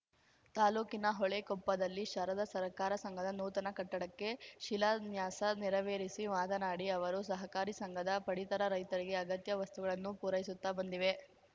ತಾಲೂಕಿನ ಹೊಳೆಕೊಪ್ಪದಲ್ಲಿ ಶಾರದಾ ಸರ್ಕಾರ ಸಂಘದ ನೂತನ ಕಟ್ಟಡಕ್ಕೆ ಶಿಲನ್ಯಾಸ ನೆರವೇರಿಸಿ ಮಾತನಾಡಿ ಅವರು ಸಹಕಾರಿ ಸಂಘದ ಪಡಿತರ ರೈತರಿಗೆ ಅಗತ್ಯ ವಸ್ತಗಳನ್ನು ಪೂರೈಸುತ್ತ ಬಂದಿವೆ